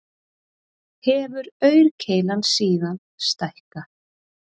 Hefur aurkeilan síðan stækkað